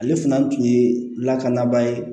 Ale fana tun ye lakanabaa ye